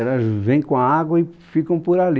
Elas vêm com a água e ficam por ali.